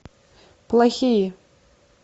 плохие